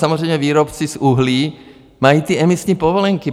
Samozřejmě výrobci z uhlí mají ty emisní povolenky.